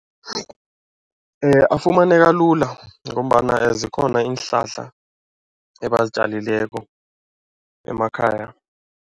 Afumaneka lula ngombana zikhona iinhlahla ebazitjalileko emakhaya.